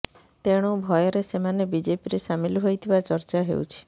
ତେଣୁ ଭୟରେ ସେମାନେ ବିଜେପିରେ ସାମିଲ ହୋଇଥିବା ଚର୍ଚ୍ଚା ହେଉଛି